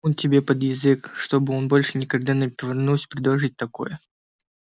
типун тебе под язык чтобы он больше никогда не повернулся предположить такое